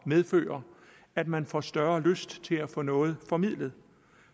medføre at man får større lyst til at få noget formidlet